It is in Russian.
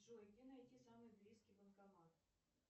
джой где найти самый близкий банкомат